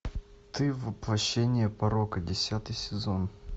ты воплощение порока десятый сезон